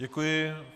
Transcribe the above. Děkuji.